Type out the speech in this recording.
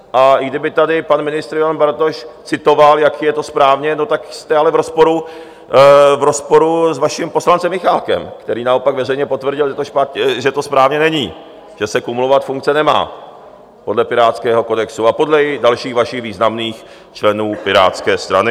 A i kdyby tady pan ministr Ivan Bartoš citoval, jak je to správně, tak jste ale v rozporu s vaším poslancem Michálkem, který naopak veřejně potvrdil, že to správně není, že se kumulovat funkce nemá podle pirátského kodexu a podle dalších vašich významných členů Pirátské strany.